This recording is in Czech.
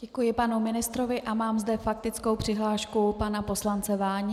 Děkuji panu ministrovi a mám zde faktickou přihlášku pana poslance Váni.